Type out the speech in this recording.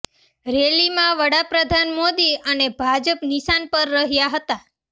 રેલીમાં વડાપ્રધાન મોદી અને ભાજપ નિશાન પર રહ્યાં હતા